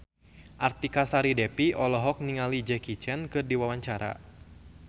Artika Sari Devi olohok ningali Jackie Chan keur diwawancara